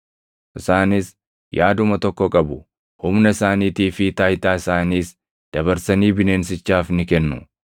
Isaanis yaaduma tokko qabu; humna isaaniitii fi taayitaa isaaniis dabarsanii bineensichaaf ni kennu.